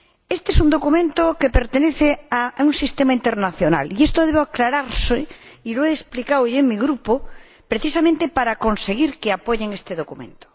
Este es un documento que se enmarca en un sistema internacional, y esto debe aclararse, y lo he explicado ya en mi Grupo, precisamente para conseguir que apoye este documento.